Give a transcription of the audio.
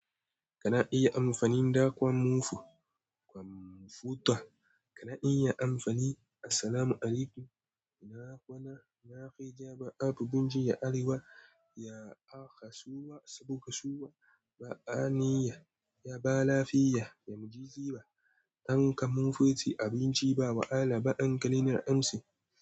Kana iya amfani da kwamfu kwamfuta. Kana iya amfani. Assalamualaikum. Ina kwana? Ina kai jaba abu gunci ya arewa. Ya akasuwa saboda kasuwa ba ani ya. Ya ba lafiya, ya mu ji giba. An kama motsi abinci ba wahala ba an kalina amsi.